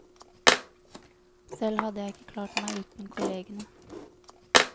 Selv hadde jeg ikke klart meg uten kollegene.